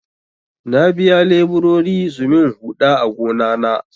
Na biya leburori su min huɗa a gona na.